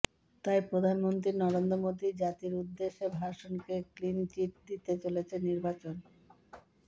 তাই প্রধানমন্ত্রী নরেন্দ্র মোদির জাতির উদ্দেশে ভাষণকে ক্লিনচিট দিতে চলেছে নির্বাচন